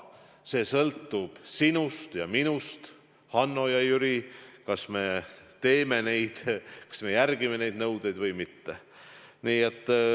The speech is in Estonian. See sõltub sinust ja minust, Hannost ja Jürist, kas me täidame neid nõudeid või mitte.